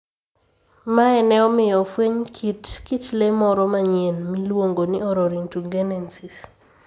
Mae ne omiyo ofweny kit kit le moro manyien miluongo ni Orrorin tugenensis.